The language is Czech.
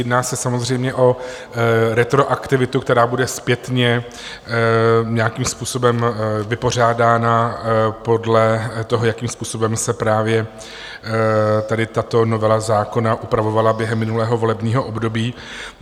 Jedná se samozřejmě o retroaktivitu, která bude zpětně nějakým způsobem vypořádána podle toho, jakým způsobem se právě tady tato novela zákona upravovala během minulého volebního období.